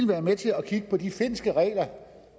være med til at kigge på de finske regler